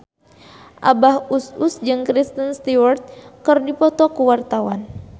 Abah Us Us jeung Kristen Stewart keur dipoto ku wartawan